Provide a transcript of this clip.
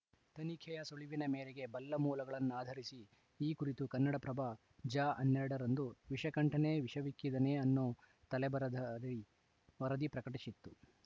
ತನಿಖೆಯ ಸುಳಿವಿನ ಮೇರೆಗೆ ಬಲ್ಲ ಮೂಲಗಳನ್ನಾಧರಿಸಿ ಈ ಕುರಿತು ಕನ್ನಡಪ್ರಭ ಜ ಹನ್ನೆರಡ ರಂದು ವಿಷಕಂಠನೇ ವಿಷವಿಕ್ಕಿದನೇ ಅನ್ನೋ ತಲೆಬರಹದಡಿ ವರದಿ ಪ್ರಕಟಿಸಿತ್ತು